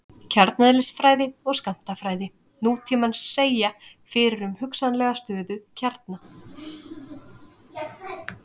kjarneðlisfræði og skammtafræði nútímans segja fyrir um hugsanlega stöðuga kjarna